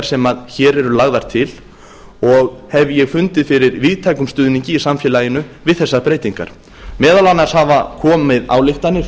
sem hér eru lagðar til og hef ég fundið fyrir víðtækum stuðningi í samfélaginu við þessar breytingar meðal annars hafa komið ályktanir